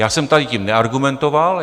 Já jsem tady tím neargumentoval.